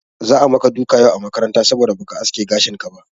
Za'a maka duka yau a makaranta saboda ba ka aske gashinka ba.